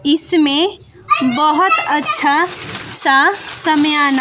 इसमें बहोत अच्छा सा सामयाना--